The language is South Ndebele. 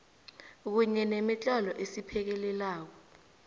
kunye nemitlolo esiphekelelako